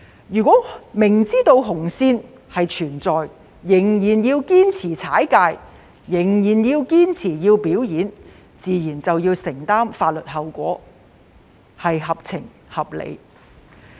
如果明知紅線存在，仍然堅持逾越、堅持表演，自然要承擔法律後果，這也合情合理。